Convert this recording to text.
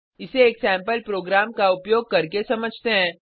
इसे एक sample program का उपयोग करके समझते हैं